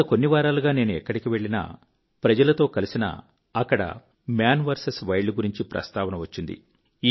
గత కొన్ని వారాలుగా నేను ఎక్కడికి వెళ్ళినా ప్రజలతో కలిసినా అక్కడ మాన్ విఎస్ వైల్డ్ గురించి ప్రస్తావన వచ్చింది